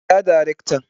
Kira darakta